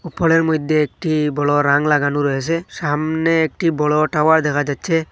উপরের মইধ্যে একটি বড়ো রাং লাগানো রয়েসে সামনে একটি বড়ো টাওয়ার দেখা যাচ্ছে।